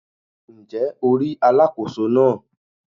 Ǹ jé o rí Alákóso náà